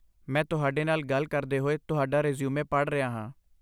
ਮੈਂ ਤੁਹਾਡੇ ਨਾਲ ਗੱਲ ਕਰਦੇ ਹੋਏ ਤੁਹਾਡਾ ਰੈਜ਼ਿਊਮੇ ਪੜ੍ਹ ਰਿਹਾ ਹਾਂ।